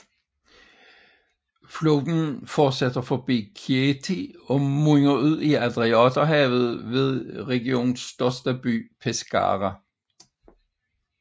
Floden fortsætter forbi Chieti og munder ud i Adriaterhavet ved regionens største by Pescara